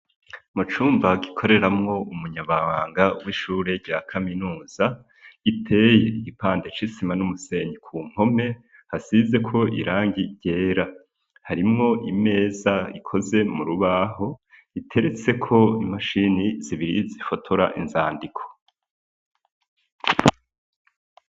Mu cumba gikoreramwo umunyamabanga w'ishure rya kaminuza, giteye igipande c’isima n'umusenyi ku mpome, hasizeko irangi ryera, harimwo imeza ikoze mu rubaho, iteretseko imashini zibiri zifotora inzandiko.